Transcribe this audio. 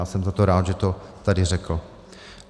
Já jsem za to rád, že to tady řekl.